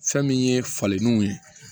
Fɛn min ye falenniw ye